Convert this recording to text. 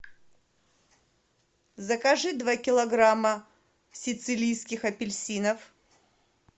закажи два килограмма сицилийских апельсинов